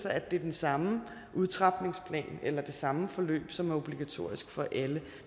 at det er den samme udtrapningsplan eller det samme forløb som er obligatorisk for alle